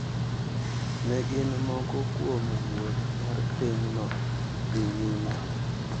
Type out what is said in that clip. Ne gin moko kuom wuoth mar pinyno dhi nyime.